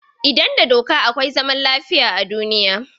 Idan da doka akwai zaman lafiya a duniya.